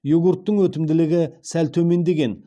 йогурттың өтімділігі сәл төмендеген